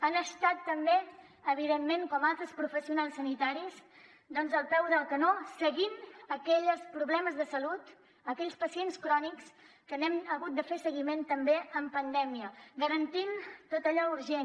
han estat també evidentment com altres professionals sanitaris al peu del canó seguint aquells problemes de salut aquells pacients crònics que n’hem hagut de fer seguiment també en pandèmia garantint tot allò urgent